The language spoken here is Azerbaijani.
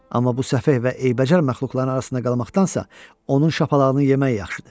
Amma bu səfeh və eybəcər məxluqların arasında qalmaqdansa, onun şapalağını yemək yaxşıdır.